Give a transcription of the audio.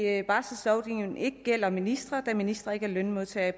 at barselslovgivningen ikke gælder ministre da ministre ikke er lønmodtagere i